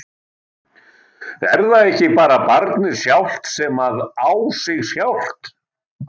Er það ekki bara barnið sjálft sem að á sig sjálft?